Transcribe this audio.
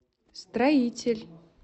строитель